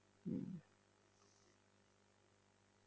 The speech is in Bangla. হম